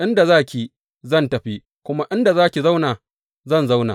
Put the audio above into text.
Inda za ki, zan tafi, kuma inda za ki zauna, zan zauna.